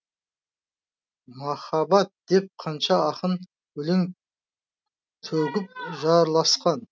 махаббат деп қанша ақын өлең төгіп жырласқан